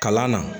Kalan na